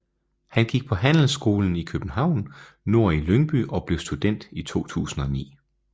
Han gik på Handelsskolen København Nord i Lyngby og blev student i 2009